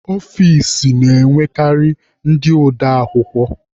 Ọfici na-enwekarị ndị ode akwukwọ.